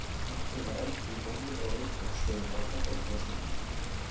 Enn kraumar eldur í mónum á Rauðkollsstöðum á Snæfellsnesi.